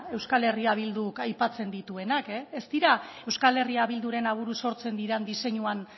euskal herria bilduk aipatzen dituenak ez dira euskal herria biduren aburuz sortzen diren diseinuan